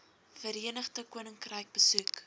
verenigde koninkryk besoek